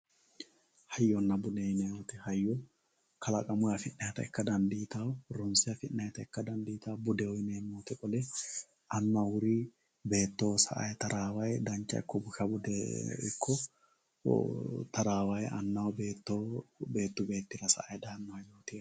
Hayyonna bude yineemmo woyte, hayyo kalaqamunni affi'ninannita ikka dandiittano ronse affi'nannitta ikka dandiittano qoleno annu awuruni beettoho sa"ani tarawayi tarawani dancha ikko busha tarawani annaho beettoho beettu beettira sa'ano.